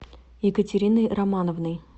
екатериной романовной